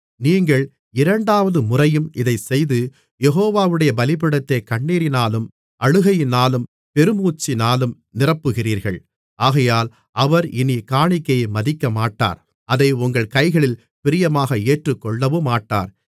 நீங்கள் இரண்டாவது முறையும் இதைச் செய்து யெகோவாவுடைய பீடத்தைக் கண்ணீரினாலும் அழுகையினாலும் பெருமூச்சினாலும் நிரப்புகிறீர்கள் ஆகையால் அவர் இனிக் காணிக்கையை மதிக்கமாட்டார் அதை உங்கள் கைகளில் பிரியமாக ஏற்றுக்கொள்ளவுமாட்டார்